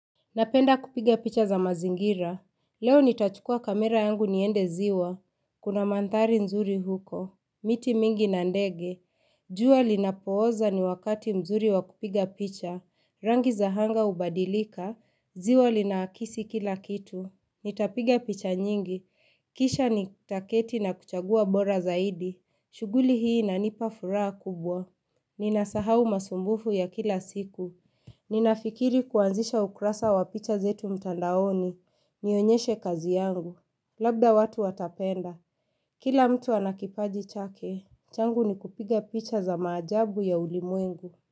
Napenda kupiga picha za mazingira, leo nitachukua kamera yangu niende ziwa, kuna manthari nzuri huko, miti mingi na ndege, jua linapooza ni wakati mzuri wa kupiga picha, rangi za anga hubadilika, ziwa linakisi kila kitu, nitapiga picha nyingi, kisha nitaketi na kuchagua bora zaidi, shuguli hii inanipa furaha kubwa, ninasahau masumbufu ya kila siku. Ninafikiri kuanzisha ukrasa wa picha zetu mtandaoni, nionyeshe kazi yangu. Labda watu watapenda, kila mtu ana kipaji chake, changu ni kupiga picha za maajabu ya ulimuengu.